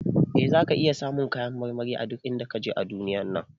Eh, zaka iya samun kayan marmari a duk inda kaje a duniyar nan.